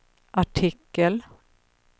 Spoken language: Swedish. artikel